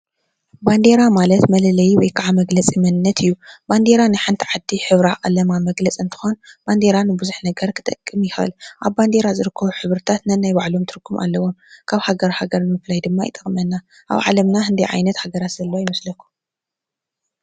ባንዴራ ማለት መለለዪ ወይ ከዓ መግለፂ መንነት እዩ ባንዴራ ናይ ሓንቲ ዓዲ ሕብራ ቐለማ መግለፂ እንትኾን ባንዴራ ንብዙሕ ነገር ክጠቅም ይኽእል ኣብ ባንዴራ ዝርከቡ ሕብርታት ነናይ ባዕሎም ትርጉም ኣለዎም ካብ ሃገር ሃገር ምፍላይ ድማ ይጠቕመና ኣብ ዓለምና ዓይነት ሃገራት ዘለዋ ይመስለኩም።